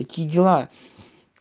какие дела